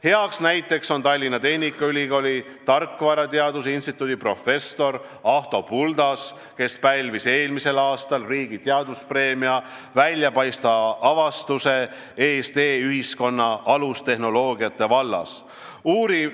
Heaks näiteks on Tallinna Tehnikaülikooli tarkvarateaduse instituudi professor Ahto Buldas, kes pälvis eelmisel aastal riigi teaduspreemia väljapaistva avastuse eest e-ühiskonna alustehnoloogiate vallas.